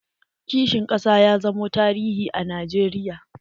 Kishin ƙasa ya zamo tarihi a najeriya.